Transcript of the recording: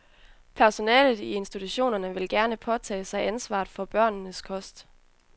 Personalet i institutionerne vil gerne påtage sig ansvaret for børnenes kost.